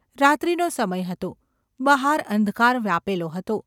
રાત્રિનો સમય હતો. બહાર અંધકાર વ્યાપેલો હતો.